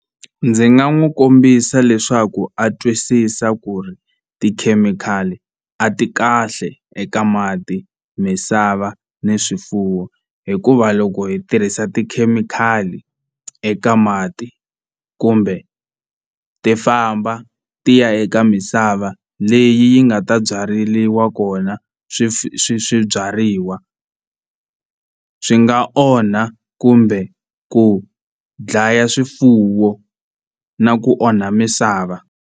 Ndzi nga n'wi kombisa leswaku a twisisa ku ri tikhemikhali a ti kahle eka mati misava ni swifuwo hikuva loko hi tirhisa tikhemikhali eka mati kumbe ti famba ti ya eka misava leyi yi nga ta byareliwa kona swi swi swi swibyariwa swi nga onha kumbe ku dlaya swifuwo na ku onha misava.